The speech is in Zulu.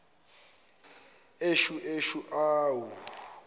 eshu eshu awu